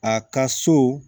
A ka so